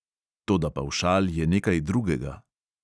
Toda pavšal je nekaj drugega.